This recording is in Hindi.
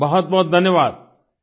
बहुत बहुत धन्यवाद